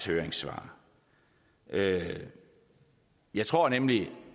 høringssvar jeg jeg tror nemlig